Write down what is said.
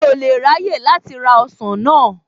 Mi ò lè ráyè láti ra ọsàn náà.